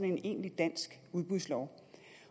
en egentlig dansk udbudslov